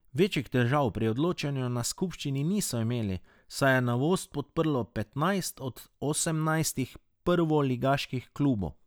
Večjih težav pri odločanju na skupščini niso imeli, saj je novost podprlo petnajst od osemnajstih prvoligaških klubov.